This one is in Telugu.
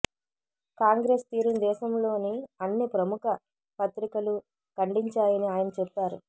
కాంగ్రెస్ తీరును దేశంలోని అన్ని ప్రముఖ పత్రికలు ఖండించాయని ఆయన చెప్పారు